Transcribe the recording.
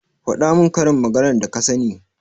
faɗa min karin maganar da ka sani.